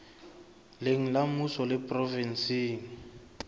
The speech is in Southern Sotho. leng la mmuso le provenseng